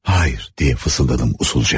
Xeyr, deyə fısıldadım usulca.